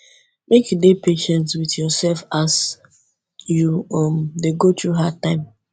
make you dey patient wit yoursef as you um dey go through hard times